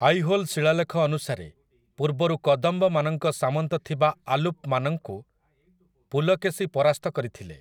ଆଇହୋଲ୍ ଶିଳାଲେଖ ଅନୁସାରେ, ପୂର୍ବରୁ କଦମ୍ବମାନଙ୍କ ସାମନ୍ତ ଥିବା ଆଲୁପ୍‌ମାନଙ୍କୁ ପୁଲକେଶି ପରାସ୍ତ କରିଥିଲେ ।